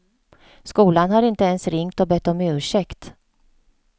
Skolan har inte ens ringt och bett om ursäkt.